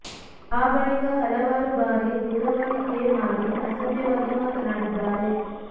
ಆ ಬಳಿಕ ಹಲವಾರು ಬಾರಿ ದೂರವಾಣಿ ಕೆ ಮಾಡಿ ಅಸಭ್ಯವಾಗಿ ಮಾತನಾಡಿದ್ದಾರೆ